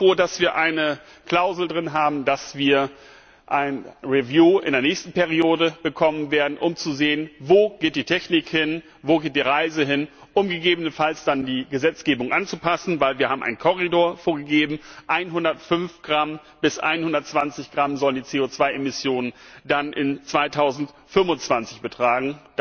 Ich bin auch froh, dass wir eine Klausel darin haben, dass wir eine Überprüfung in der nächsten Periode bekommen werden, um zu sehen, wo geht die Technik hin, wo geht die Reise hin, um gegebenenfalls dann die Gesetzgebung anzupassen. Denn wir haben einen Korridor vorgegeben 105 bis 120 Gramm sollen die CO 2 Emissionen dann im Jahr 2025 betragen.